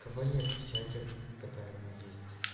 в чате в котором есть